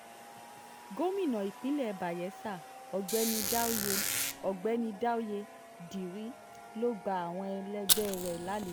gomina ìpínlẹ̀ bayela ọ̀gbẹ́ni dáúyé ọ̀gbẹ́ni dáúyé diri ló gba àwọn ẹlẹgbẹ́ rẹ̀ lálejò